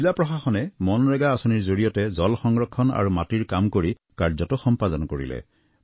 জিলা প্ৰশাসনে মনৰেগা আঁচনিৰ জৰিয়তে জল সংৰক্ষণ আৰু মাটিৰ কাম কৰি কাৰ্যটো সম্পাদন কৰিলে